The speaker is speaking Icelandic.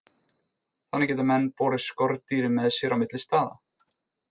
Þannig geta menn borið skordýrin með sér á milli staða.